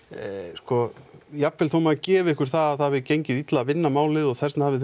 sko jafnvel þó maður gefi ykkur það að það hafi gengið illa að vinna málið og þess vegna hafið